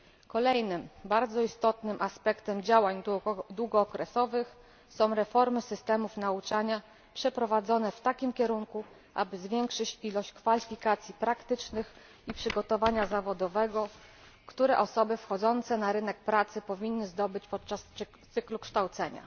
Kolejnym bardzo istotnym aspektem działań długookresowych są reformy systemów nauczania przeprowadzane w takim kierunku, aby zwiększyć ilość kwalifikacji praktycznych i przygotowania zawodowego, jakie osoby wchodzące na rynek pracy powinny zdobyć w trakcie cyklu kształcenia.